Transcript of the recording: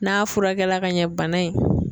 N'a furakɛla ka ɲɛ bana in